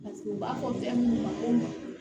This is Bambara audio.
Paseke u b'a fɔ fɛn minnu ma ko ma